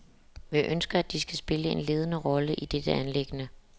Vi ønsker, at de skal spille en ledende rolle i dette anliggende.